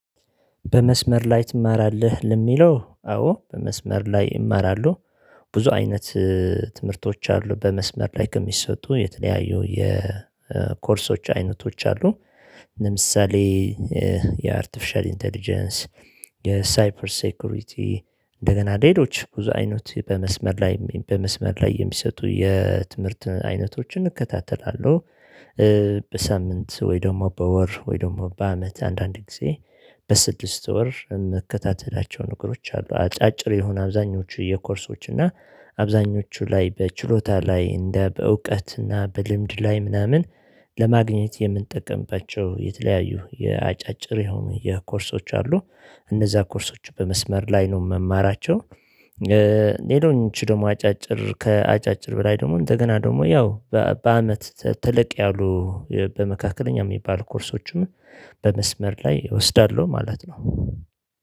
በመስመር ላይ ትማራለህ? ለሚለው አዎ በመስመር ላይ እማራለሁ ብዙ አይነት ትምህርቶች አሉ በመስመር ላይ ከሚሰጡ የተለያዩ የኮርሶች አይነቶች አሉ። ለምሳሌ የአርቲፊሻል ኢንተለጀንስ የሳይፐር ሴኩሪቲ እንደገና ሌሎች ብዙ አይነት በመስመር ላይ በመስመር ላይ የሚሰጡ የትምህርትን አይነቶችን እከታተላለሁ። በሳምንት ወይ ደግሞ በወር ወይ ደግሞ በአመት አንዳንድ ጊዜ በስድስት ወር የምከታተላቸው ነገሮች አሉ። አጫጭር የሆኑ አብዛኞቹ የኮርሶች እና አብዛኞቹ ላይ በችሎታ ላይ እንደ በእውቀትና በልምድ ላይ ምናምን ለማግኘት የምንጠቀምባቸው የተለያዩ የአጫጭር የሆኑ የኮርሶች አሉ። እነዛ ኮርሶች በመስመር ላይ ነው የምማራቸው። ሌሎች ደግሞ አጫጭር ከአጫጭር በላይ ደግሞ እንደገና ደግሞ ያው በአመት ተለቅ ያሉ በመካከለኛ የሚባል ኮርሶችም በመስመር ላይ እወስዳለሁ ማለት ነው።